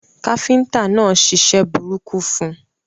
Káfíntà náà ṣiṣẹ́ burúkú fun